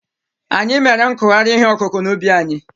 Anyị mere nkụgharị ihe ọkụkụ̀ n'ubi anyị.